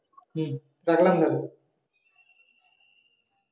হম রাখলাম তাহলে